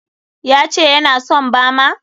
Ya ce ya na son bama?